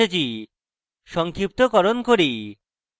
সংক্ষিপ্তকরণ করি